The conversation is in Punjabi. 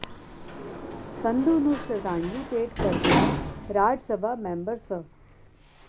ਸੰਧੂ ਨੂੰ ਸ਼ਰਧਾਂਜਲੀ ਭੇਂਟ ਕਰਦਿਆਂ ਰਾਜ ਸਭਾ ਮੈਂਬਰ ਸ